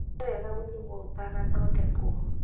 Nĩwega gũthimwo ũtanathondekwo